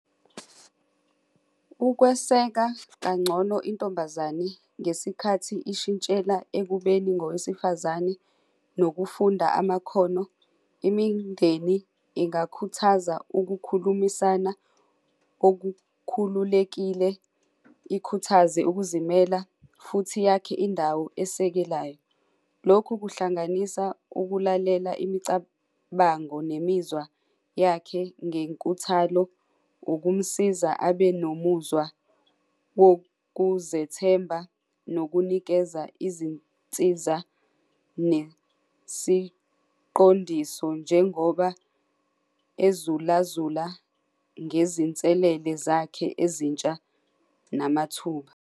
Ukweseka kangcono intombazane ngesikhathi ishintshela ekubeni ngowesifazane nokufunda amakhono, imindeni ingabakhuthaza ukukhulumisana olukhululekile, ikhuthaze ukuzimela, futhi yakhe indawo esekelayo. Lokhu kuhlanganisa ukulalela imicabango nemizwa yakhe ngenkuthalo ukumsiza abe nomuzwa wokuzethemba nokunikeza izinsiza nesiqondiso njengoba ezula zula ngezinselele zakhe ezintsha namathuba.